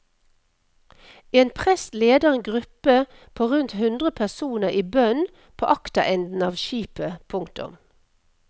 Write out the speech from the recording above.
En prest leder en gruppe på rundt hundre personer i bønn på akterenden av skipet. punktum